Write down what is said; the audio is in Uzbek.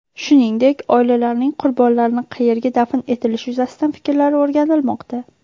Shuningdek, oilalarning qurbonlarni qayerga dafn etilishi yuzasidan fikrlari o‘rganilmoqda.